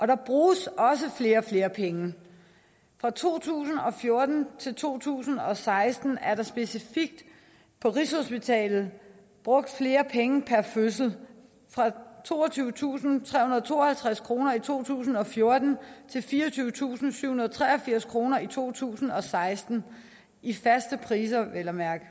der bruges også flere og flere penge fra to tusind og fjorten til to tusind og seksten er der specifikt på rigshospitalet brugt flere penge per fødsel fra toogtyvetusinde og trehundrede og tooghalvtreds kroner i to tusind og fjorten til fireogtyvetusinde og syvhundrede og treogfirs kroner i to tusind og seksten i faste priser vel at mærke